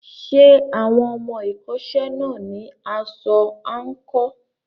Ṣé àwọn ọmọ ẹ̀kọ́ṣẹ́ náà ní aṣọ àǹkóò?